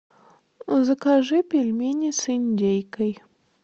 закажи пельмени с индейкой